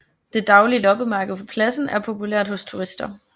Det daglige loppemarked på pladsen er populært hos turister